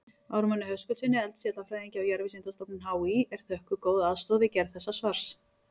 Ármanni Höskuldssyni eldfjallafræðingi á Jarðvísindastofnun HÍ er þökkuð góð aðstoð við gerð þessa svars.